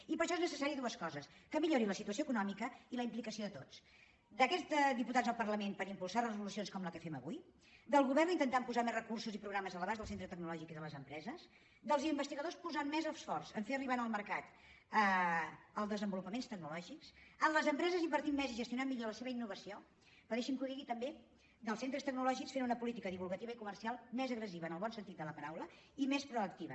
i per això són necessàries dues coses que millori la situació econò·mica i la implicació de tots d’aquests diputats al par·lament per impulsar resolucions com la que fem avui del govern intentant posar més recursos i programes a l’abast del centre tecnològic i de les empreses dels investigadors posant més esforç a fer arribar al mer·cat els desenvolupaments tecnològics de les impre·ses invertint més i gestionant millor la seva innovació però deixin·me que ho digui també dels centres tec·nològics fent una política divulgativa i comercial més agressiva en el bon sentit de la paraula i més proacti·va